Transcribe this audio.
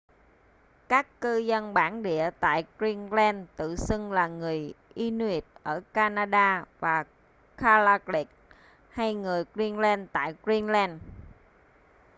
các cư dân bản địa tại greenland tự xưng là người inuit ở canada và kalaalleq kalaallit hay người greenland tại greenland